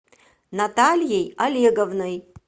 натальей олеговной